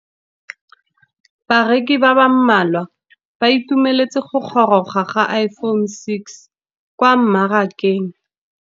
Bareki ba ba malwa ba ituemeletse go gôrôga ga Iphone6 kwa mmarakeng.